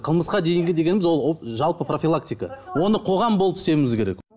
қылмысқа дейінгі дегеніміз ол жалпы профилактика оны қоғам болып істеуіміз керек